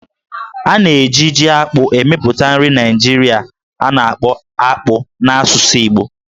A na-eji Jí-akpụ emepụta nri Naijiria a na-akpọ "Akpu" n'asụsụ Igbo